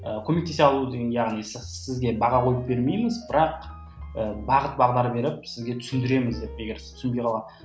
көмектесе алу деген яғни сізге баға қойып бермейміз бірақ і бағыт бағдар беріп сізге түсіндіреміз деп егер сіз түсінбей қалған